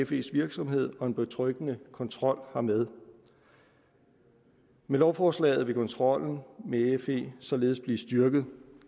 fes virksomhed og en betryggende kontrol hermed med lovforslaget vil kontrollen med fe således blive styrket